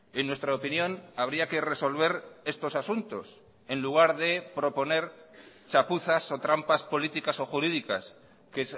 en nuestra opinión habría que resolver estos asuntos en lugar de proponer chapuzas o trampas políticas o jurídicas que